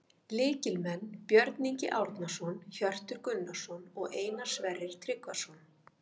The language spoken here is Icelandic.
Lykilmenn: Björn Ingi Árnason, Hjörtur Gunnarsson og Einar Sverrir Tryggvason